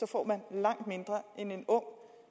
får man langt mindre end en ung